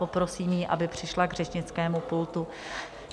Poprosím ji, aby přišla k řečnickému pultu.